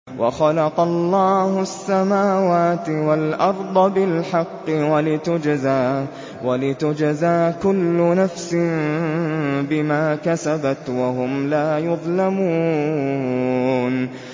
وَخَلَقَ اللَّهُ السَّمَاوَاتِ وَالْأَرْضَ بِالْحَقِّ وَلِتُجْزَىٰ كُلُّ نَفْسٍ بِمَا كَسَبَتْ وَهُمْ لَا يُظْلَمُونَ